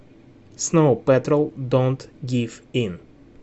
сноу пэтрол донт гив ин